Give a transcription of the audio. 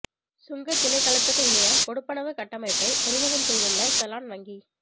சுங்கத் திணைக்களத்துக்கு இணைய கொடுப்பனவு கட்டமைப்பை அறிமுகம் செய்துள்ள செலான் வங்கி